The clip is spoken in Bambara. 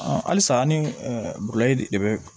halisa an ni bulɛti de bɛ